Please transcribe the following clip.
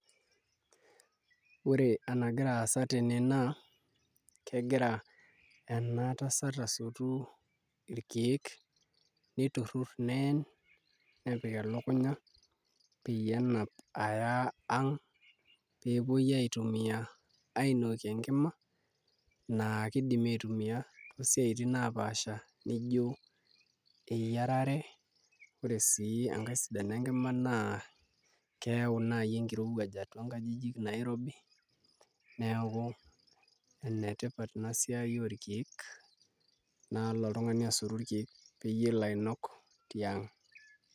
Ore enagira aasa tene naa kegira ena tasat asotu irkeek niturrur neen nepik elukunya nenap aya ang' pee epuoi aitumiaa ainokie enkima naa kdimi aitumia toosiaitin naapaasha nijio eyiarare ore sii enkae sidano enkima naa keyau naai enkirowuaj atua nkajijik nairobi neeku enetipat ina siai orkeek nalo otung'ani asotu irkeek peyie elo ainok tiang'.